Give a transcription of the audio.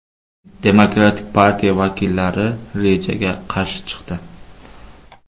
Demokratik partiya vakillari rejaga qarshi chiqdi.